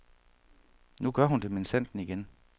Nu gør hun det minsandten igen.